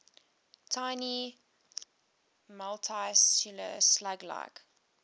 tiny multicellular slug like